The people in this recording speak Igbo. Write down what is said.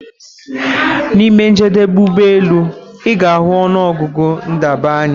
Na ime njedebe ụgbọ elu, ị ga-ahụ ọnụ ọgụgụ ndebanye